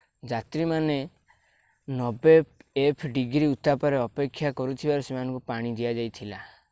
ଯାତ୍ରୀମାନେ 90f-ଡିଗ୍ରୀ ଉତ୍ତାପରେ ଅପେକ୍ଷା କରିଥିବାରୁ ସେମାନଙ୍କୁ ପାଣି ଦିଆଯାଇଥିଲା।